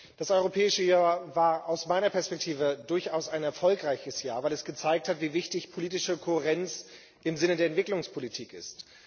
Das Europäische Jahr war aus meiner Perspektive durchaus ein erfolgreiches Jahr, weil es gezeigt hat, wie wichtig politische Kohärenz im Sinne der Entwicklungspolitik ist.